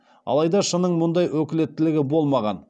алайда ш ның мұндай өкілеттілігі болмаған